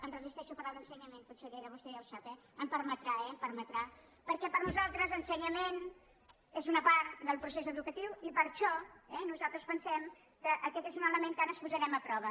em resistei·xo a parlar d’ensenyament consellera vostè ja ho sap eh m’ho permetrà eh m’ho permetrà perquè per a nosaltres ensenyament és una part del procés educa·tiu i per això nosaltres pensem que aquest és un ele·ment que ara posarem a prova